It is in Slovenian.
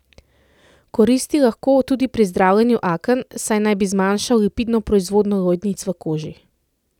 Koristi lahko tudi pri zdravljenju aken, saj naj bi zmanjšal lipidno proizvodnjo lojnic v koži.